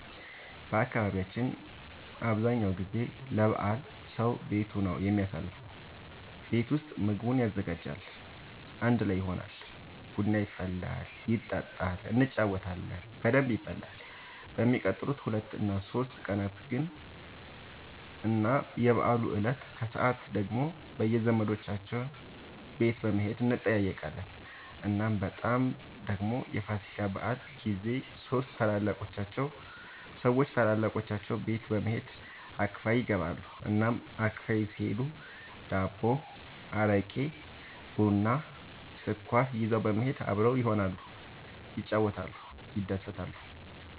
በአካባቢያችን አብዛኛው ጊዜ ለበዓል ሰዉ ቤቱ ነው የሚያሳልፈው። ቤት ውስጥ ምግቡን ያዘጋጃል፣ አንድ ላይ ይሆናል፣ ቡና ይፈላል ይጠጣል እንጫወታለን በደንብ ይበላል በሚቀጥሉት ሁለት እና ሶስት ቀናት ግን እና የበዓሉ እለት ከሰዓት ደግሞ በየዘመዶቻቸው ቤት በመሄድ እንጠያየቃለን። እናም በጣም ደግሞ የፋሲካ በዓል ጊዜ ሰዎች ታላላቆቻቸው ቤት በመሄድ አክፋይ ይገባሉ። እናም አክፋይ ሲሄዱ ዳቦ፣ አረቄ፣ ቡና፣ ስኳር ይዘው በመሄድ አብረው ይሆናሉ፣ ይጫወታሉ፣ ይደሰታሉ።